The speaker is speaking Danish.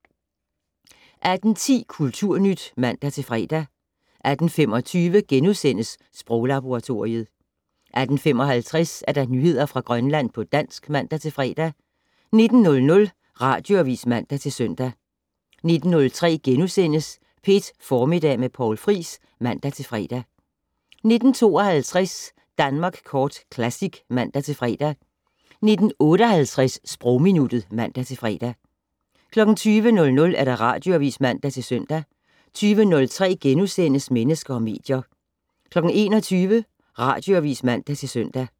18:10: Kulturnyt (man-fre) 18:25: Sproglaboratoriet * 18:55: Nyheder fra Grønland på dansk (man-fre) 19:00: Radioavis (man-søn) 19:03: P1 Formiddag med Poul Friis *(man-fre) 19:52: Danmark Kort Classic (man-fre) 19:58: Sprogminuttet (man-fre) 20:00: Radioavis (man-søn) 20:03: Mennesker og medier * 21:00: Radioavis (man-søn)